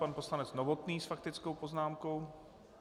Pan poslanec Novotný s faktickou poznámkou.